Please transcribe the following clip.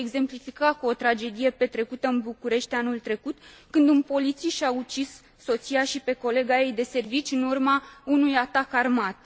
Voi exemplifica cu o tragedie petrecută în București anul trecut, când un polițist și a ucis soția și pe colega ei de serviciu în urma unui atac armat.